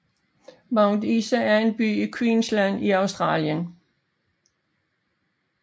Mount Isa er en by i Queensland i Australien